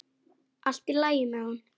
Allt í lagi með hann.